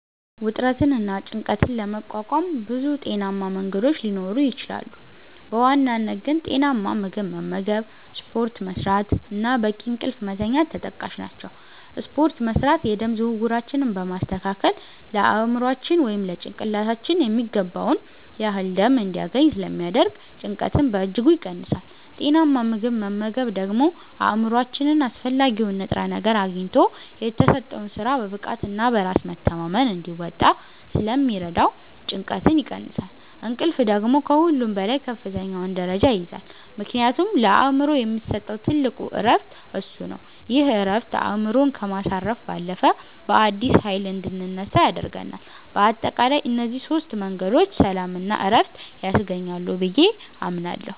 ውጥረትንና ጭንቀትን ለመቋቋም ብዙ ጤናማ መንገዶች ሊኖሩ ይችላሉ፤ በዋናነት ግን ጤናማ ምግብ መመገብ፣ ስፖርት መስራት እና በቂ እንቅልፍ መተኛት ተጠቃሽ ናቸው። ስፖርት መስራት የደም ዝውውራችንን በማስተካከል ለአእምሯችን (ጭንቅላታችን) የሚገባውን ያህል ደም እንዲያገኝ ስለሚያደርግ ጭንቀትን በእጅጉ ይቀንሳል። ጤናማ ምግብ መመገብ ደግሞ አእምሯችን አስፈላጊውን ንጥረ ነገር አግኝቶ የተሰጠውን ሥራ በብቃትና በራስ መተማመን እንዲወጣ ስለሚረዳው ጭንቀትን ይቀንሳል። እንቅልፍ ደግሞ ከሁሉም በላይ ከፍተኛውን ደረጃ ይይዛል፤ ምክንያቱም ለአእምሮ የሚሰጠው ትልቁ ዕረፍት እሱ ነው። ይህ ዕረፍት አእምሮን ከማሳረፍ ባለፈ፣ በአዲስ ኃይል እንድንነሳ ያደርገናል። በአጠቃላይ እነዚህ ሦስት መንገዶች ሰላምና ዕረፍት ያስገኛሉ ብዬ አምናለሁ።